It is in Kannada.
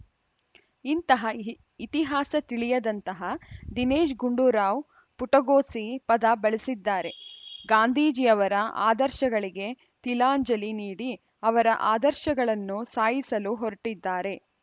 ಇಂತಹ ಇ ಇತಿಹಾಸ ತಿಳಿಯದಂತಹ ದಿನೇಶ್‌ ಗುಂಡೂರಾವ್‌ ಪುಟಗೋಸಿ ಪದ ಬಳಸಿದ್ದಾರೆ ಗಾಂಧೀಜಿ ಅವರ ಆದರ್ಶಗಳಿಗೆ ತಿಲಾಂಜಲಿ ನೀಡಿ ಅವರ ಆದರ್ಶಗಳನ್ನು ಸಾಯಿಸಲು ಹೊರಟಿದ್ದಾರೆ